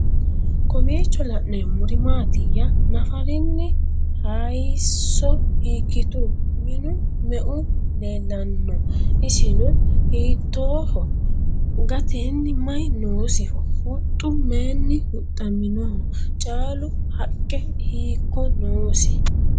Kowiicho la'neemmori maattiya? Naffarinni hayiisso hiikkitu? Minu meu leelanno? Isinno hiittoho? Gateenni mayi noosiho? Huxxu mayiinni huxamminno? Caalu haqqe hikko noosi?